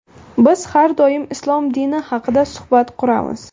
Biz har doim islom dini haqida suhbat quramiz.